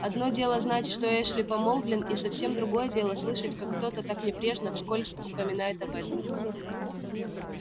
одно дело знать что эшли помолвлен и совсем другое дело слышать как кто-то так небрежно вскользь упоминает об этом